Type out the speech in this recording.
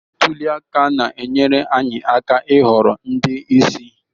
Ntuli aka na-enyere anyị aka ịhọrọ ndị isi